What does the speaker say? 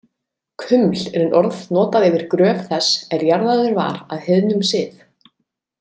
Kuml er orð notað yfir gröf þess er jarðaður var að heiðnum sið.